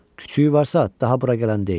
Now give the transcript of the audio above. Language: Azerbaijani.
Küçüyü varsa, daha bura gələn deyil.